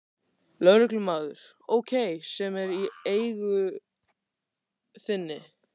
Lögreglumaður: Ókei, sem er í eigu þinni?